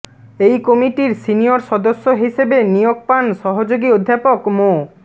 এই কমিটির সিনিয়র সদস্য হিসেবে নিয়োগ পান সহযোগী অধ্যাপক মো